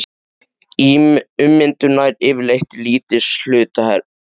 Ummyndun nær yfirleitt til lítils hluta bergs.